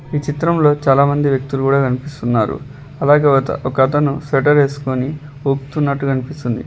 ఈ చిత్రంలో చాలామంది వ్యక్తులు కూడా కనిపిస్తున్నారు అలాగే ఒతన్ ఒక అతను స్వెటర్ వేసుకుని ఊపుతున్నట్టు కనిపిస్తుంది --